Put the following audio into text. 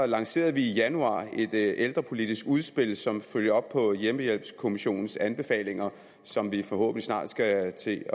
lancerede vi i januar et ældrepolitisk udspil som følger op på hjemmehjælpskommissionens anbefalinger som vi forhåbentlig snart skal til